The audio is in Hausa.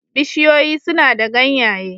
Bishiyoyi suna da ganyaye